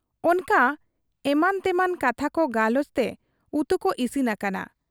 ᱚᱱᱠᱟ ᱮᱢᱟᱱᱛᱮᱢᱟᱱ ᱠᱟᱛᱷᱟᱠᱚ ᱜᱟᱞᱚᱪᱛᱮ ᱩᱛᱩᱠᱚ ᱤᱥᱤᱱ ᱟᱠᱟᱱᱟ ᱾